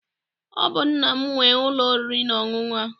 Ọ bụ nna m nwe ụlọ oriri na ọṅụṅụ a.